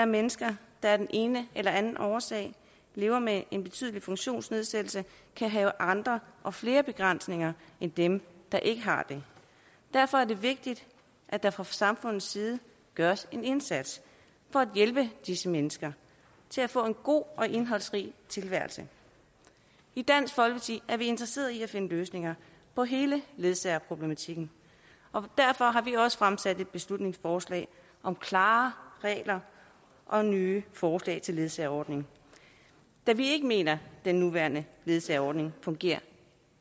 mennesker der af den ene eller anden årsag lever med en betydelig funktionsnedsættelse kan have andre og flere begrænsninger end dem der ikke har det derfor er det vigtigt at der fra samfundets side gøres en indsats for at hjælpe disse mennesker til at få en god og indholdsrig tilværelse i dansk folkeparti er vi interesseret i at finde løsninger på hele ledsagerproblematikken og derfor har vi også fremsat et beslutningsforslag om klarere regler og nye forslag til en ledsageordning da vi ikke mener den nuværende ledsageordning fungerer